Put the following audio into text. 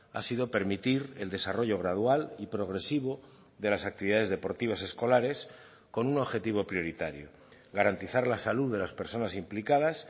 ha sido permitir el desarrollo gradual y progresivo de las actividades deportivas escolares con un objetivo prioritario garantizar la salud de las personas implicadas